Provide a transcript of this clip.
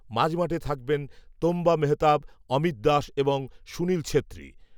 মাঝমাঠে থাকবেন তোম্বা মেহতাব অমিত দাস এবং সুনীল ছেত্রী